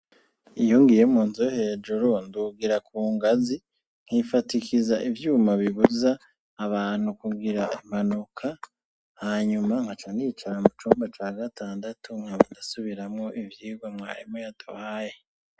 Iyongiye mu nzo hejuru ndugira ku ngazi nkifatikiza ivyuma bibuza abantu kugira impanuka hanyuma nka ca nicara mu cumba ca gatandatu nkaudasubiramwo ivyirwe mwarimu yaduhaye.